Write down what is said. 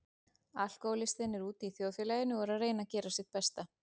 Alkohólistinn er úti í þjóðfélaginu og er að reyna að gera sitt besta.